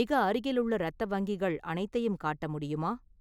மிக அருகிலுள்ள இரத்த வங்கிகள் அனைத்தையும் காட்ட முடியுமா?